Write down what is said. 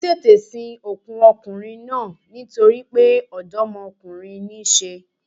Wọ́n tètè sin òkú okùnrin náà nítoripé dómokúnrin ní í se